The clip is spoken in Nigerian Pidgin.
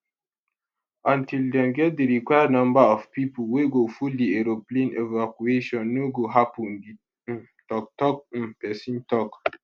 until dem get di required number of pipo wey go full di aeroplane evacuation no go happun di um toktok um pesin tok